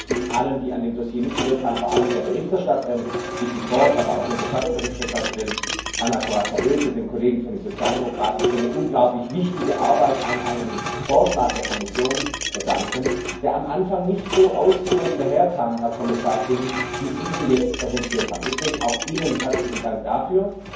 Zunächst möchte ich allen, die an dem Dossier mitgewirkt haben, vor allem der Berichterstatterin Vicky Ford, aber auch unserer Schattenberichterstatterin Anna Corazza Bildt und den Kollegen von den Sozialdemokraten für eine unglaublich wichtige Arbeit an einem Vorschlag der Kommission danken, der am Anfang nicht so ausgewogen daherkam, Herr Kommissar King, wie Sie ihn jetzt präsentiert haben. Deswegen auch Ihnen herzlichen Dank dafür.